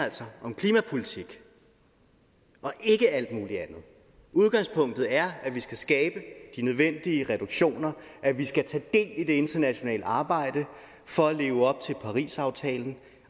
om klimapolitik og ikke alt muligt andet udgangspunktet er at vi skal skabe de nødvendige reduktioner at vi skal tage del i det internationale arbejde for at leve op til parisaftalen